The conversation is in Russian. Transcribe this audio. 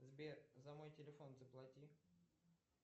сбер за мой телефон заплати